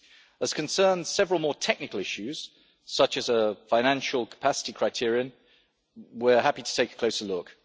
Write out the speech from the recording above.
As concerns several more technical issues such as a financial capacity criterion, we are happy to take a closer look.